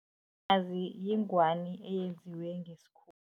yingwani eyenziwe